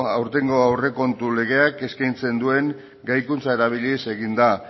aurtengo aurrekontu legeak eskaintzen duen gaikuntza erabiliz egin da